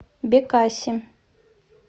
бекаси